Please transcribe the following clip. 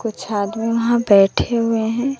कुछ छात्र वहां बैठे हुए हैं।